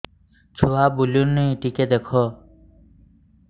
ଛୁଆ ବୁଲୁନି ଟିକେ ଦେଖ